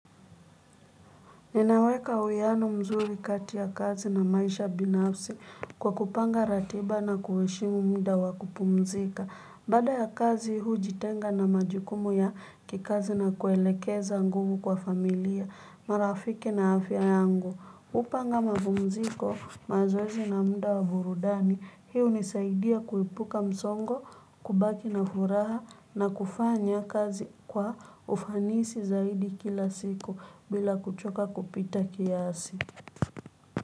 Ninaweka uiano mzuri kati ya kazi na maisha binafsi kwa kupanga ratiba na kuheshimu muda wa kupumzika. Baada ya kazi hujitenga na majukumu ya kikazi na kuelekeza nguvu kwa familia, marafiki na afya yangu. Hupanga mapumziko, mazoezi na muda wa burudani, hii hunisaidia kuepuka msongo, kubaki na furaha na kufanya kazi kwa ufanisi zaidi kila siku bila kuchoka kupita kiasi.